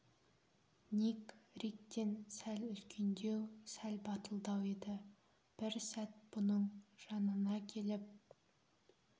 ник риктен сәл үлкендеу сәл батылдау еді бір сәт бұның жанына келіп